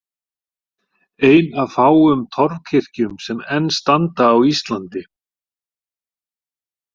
Ein af fáum torfkirkjum sem enn standa á Íslandi.